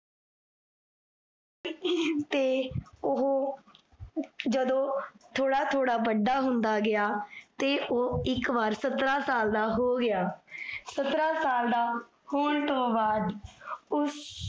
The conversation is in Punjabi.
ਤੇ ਓਹੋ, ਜਦੋਂ ਥੋੜਾ ਥੋੜਾ ਵੱਡਾ ਹੁੰਦਾ ਗਿਆ, ਤੇ ਓਹੋ ਇਕ ਵਾਰੀ ਸਤਰਾਂ ਸਾਲ ਦਾ ਹੋ ਗਿਆ ਸਤਰਾਂ ਸਾਲ ਦਾ ਹੋਣ ਤੋਨ ਬਾਅਦ, ਉਸ